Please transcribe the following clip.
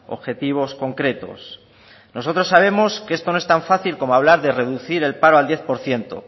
objetivos concretos nosotros sabemos que esto no es tan fácil como hablar de reducir el paro al diez por ciento